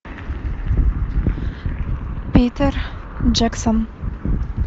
питер джексон